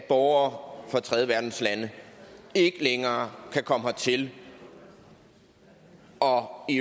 at borgere fra tredjeverdenslande ikke længere kan komme hertil og i